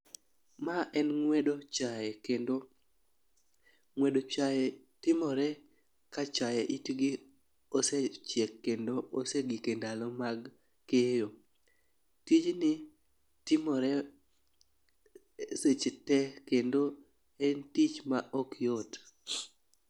Ma en ng'wedo chae kendo ng'wedo chae timore ka chae itgi osechiek kendo osegik e ndalo mag keyo. Tijni timore seche te kendo en tich ma ok yot.